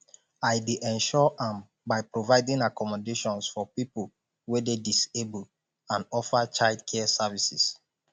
i dey ensure am by providing accommodations for people wey dey disabled and offer childcare services